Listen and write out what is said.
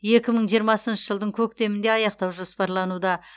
екі мың жиырмасыншы жылдың көктемінде аяқтау жоспарлануда